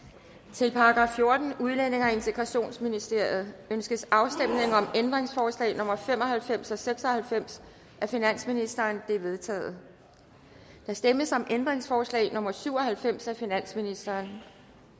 til § fjortende udlændinge og integrationsministeriet ønskes afstemning om ændringsforslag nummer fem og halvfems og seks og halvfems af finansministeren de er vedtaget der stemmes om ændringsforslag nummer syv og halvfems af finansministeren